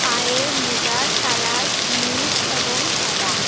পায়ের মোজার কালার নীল এ্যাবং সাদা।